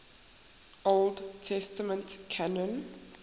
old testament canon